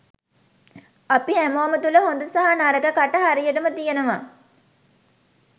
අපි හැමෝම තුළ හොඳ සහ නරක කට හරියටම තියෙනවා.